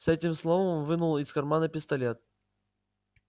с этим словом он вынул из кармана пистолет